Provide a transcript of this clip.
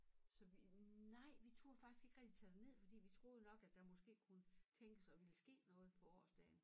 Så vi nej vi turde faktisk ikke rigtig tage derned fordi vi troede nok at der måske kunne tænkes at ville ske noget på årsdagen